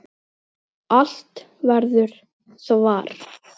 Allt verður svart.